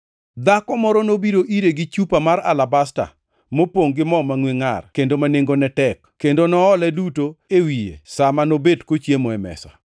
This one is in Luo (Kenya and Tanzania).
dhako moro nobiro ire gi chupa mar alabasta, mopongʼ gi mo mangʼwe ngʼar kendo ma nengone tek, kendo noole duto e wiye sa ma nobet kochiemo e mesa.